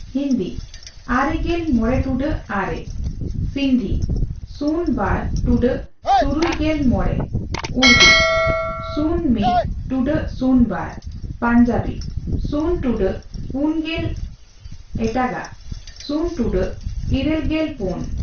ᱦᱤᱱᱫᱤ 95.09 ᱟᱨᱮᱜᱮᱞ ᱢᱚᱲᱮ ᱴᱩᱰᱟᱹᱜ ᱟᱨᱮ ᱥᱤᱫᱱᱫᱷᱤ 02.65 ᱥᱩᱱ ᱵᱟᱨ ᱴᱩᱰᱟᱹᱜ ᱛᱩᱨᱩᱭ ᱜᱮᱞ ᱢᱚᱲᱮ ᱩᱲᱫᱩ 01.02 ᱥᱩᱱ ᱢᱤᱛ ᱴᱩᱰᱟᱹᱜ ᱥᱩᱱ ᱵᱟᱨ ᱯᱟᱧᱡᱟᱵᱤ 0.40 ᱥᱩᱱ ᱴᱩᱰᱟᱹᱜ ᱯᱩᱱᱜᱮᱞ ᱮᱴᱟᱜᱟᱜ 0.84 ᱥᱩᱱ ᱴᱩᱰᱟᱹᱜ ᱤᱨᱟᱹᱞ ᱜᱮᱞ ᱯᱩᱱ ᱾